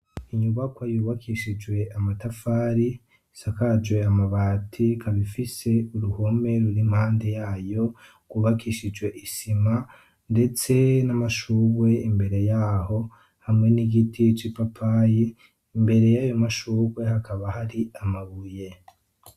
inyubakw yubakishijwe amatafari asakaje amabati ikabifise uruhome ruri impande yayo kubakishijwe isima ndetse n'amashurwe imbere y'aho hamwe n'igiti cipapayi imbere y'ayo mashugwe hakaba hari amabuye